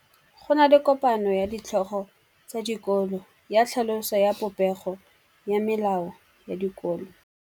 Go na le kopanô ya ditlhogo tsa dikolo ya tlhaloso ya popêgô ya melao ya dikolo.